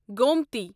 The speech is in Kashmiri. گومتی